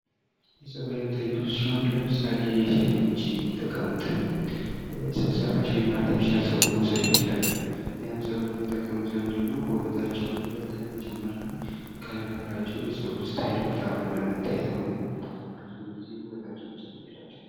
የፀጉር ዓይነቶች ብዙ ሲሆኑ ለምሳሌ:-የሴቶች የሚጠቀሙትን የሰው ሰራሽ ወይም አርቴፊሻል ፀጉር መውሰድ እንችላለን። ያን ፀጉር የሚጠቀሙት ለምንድነው ውበታቸውን ይበልጥ ለመጨመርና ከነበራቸው የፀጉር እስታይል በጣም ወጣ ብሎ ለመታየት ነው። እና ብዙ ጊዜ ውበታቸውን ይጨምርላቸዋል።